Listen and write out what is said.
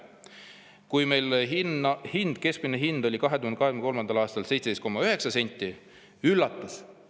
Kui meil keskmine hind 2023. aastal oli 17,9 senti, siis – üllatus!